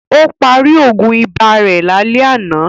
Ó parí Ògùn ibà rẹ̀ lálẹ́ àná